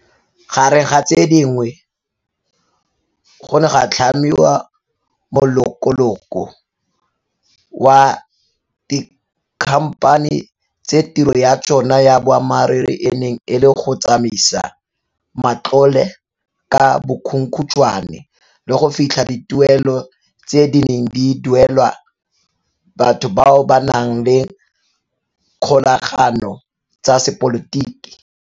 Gareng ga tse dingwe, go ne ga tlhamiwa molokoloko wa dikhamphani tse tiro ya tsona ya boammaruri e neng e le go tsamaisa matlole ka bokhukhuntshwane le go fitlha dituelo tse di neng di duelwa batho bao ba nang le dikgolagano tsa sepolotiki.